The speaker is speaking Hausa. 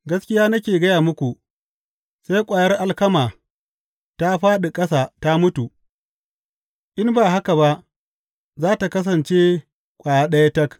Gaskiya nake gaya muku, sai ƙwayar alkama ta fāɗi ƙasa ta mutu, in ba haka ba za tă kasance ƙwaya ɗaya tak.